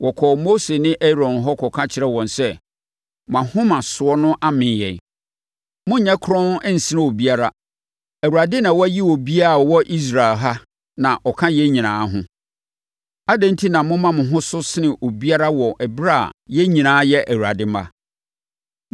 Wɔkɔɔ Mose ne Aaron hɔ kɔka kyerɛɛ wɔn sɛ. “Mo ahomasoɔ no amee yɛn; monnyɛ kronn nsene obiara. Awurade na wayi obiara a ɔwɔ Israel ha na ɔka yɛn nyinaa ho. Adɛn enti na moma mo ho so sene obiara wɔ ɛberɛ a yɛn nyinaa yɛ Awurade mma?”